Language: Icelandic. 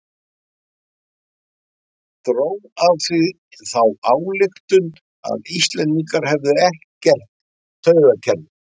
Dró af því þá ályktun að Íslendingar hefðu ekkert taugakerfi.